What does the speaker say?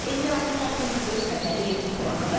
Elmirə Səfəddinqızı, Rüfət Əliyev, ITV Xəbər.